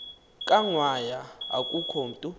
kangwanya akukho mntu